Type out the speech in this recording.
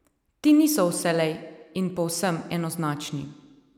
Ti niso vselej in povsem enoznačni.